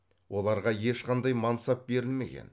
оларға ешқандай мансап берілмеген